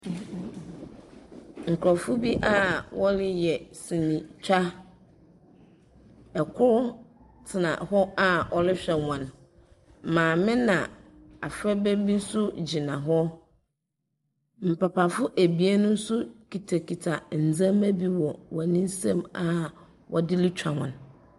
Nkorɔfo a woreyɛ senetwa, kor tsena hɔ a ɔrohwɛ hɔn. maame na afraba bi so gyina hɔ, papafo ebien so kitakita ndzɛmba bi wɔ hɔn nsamu a wɔdze rutwa hɔn.